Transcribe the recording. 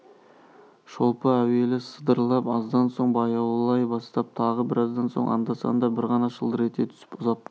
шолпы әуелі жиі сылдырлап аздан соң баяулай бастап тағы біраздан соң анда-санда бір ғана шылдыр ете түсіп ұзап